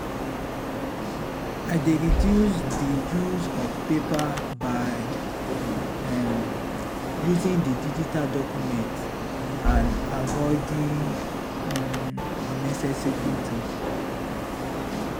i dey reduce di reduce di use of paper by um using di digital documents and avoiding um unnecessary printing.